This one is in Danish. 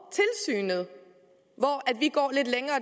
lande